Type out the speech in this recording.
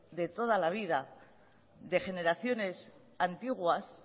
de toda la vida de generaciones antiguas